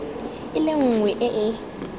e le nngwe e e